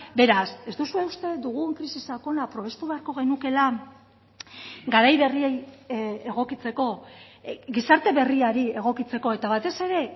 beraz ez duzue uste dugun krisi sakona probestu beharko genukeela garai berriei egokitzeko gizarte berriari egokitzeko eta batez ere